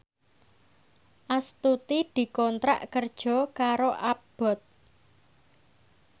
Astuti dikontrak kerja karo Abboth